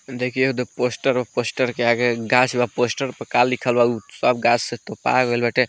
देखियो ते पोस्टर पे पोस्टर के आगे गाछ बा पोस्टर पर का लिखल बा उ सब गाछ से तोपाय गेल बाटे।